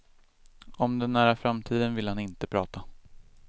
Om den nära framtiden vill han inte prata.